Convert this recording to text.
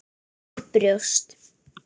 Og brjóst.